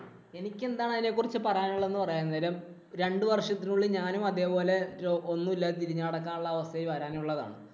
എനിക്കെന്താണ് അതിനെക്കുറിച്ച് പറയാന്‍ ഉള്ളതെന്ന് പറയാൻ നേരം രണ്ടു വർഷത്തിനുള്ളിൽ ഞാനും അതേ പോലെ ഒന്നുമില്ലാതെ തിരിഞ്ഞു നടക്കാന്‍ ഉള്ള അവസ്ഥയില്‍ വരാനുള്ളതാണ്.